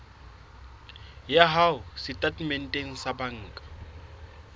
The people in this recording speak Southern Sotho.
ya hao setatementeng sa banka